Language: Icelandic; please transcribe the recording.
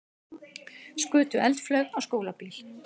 Skutu eldflaug á skólabíl